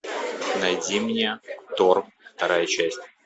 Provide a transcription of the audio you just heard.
найди мне тор вторая часть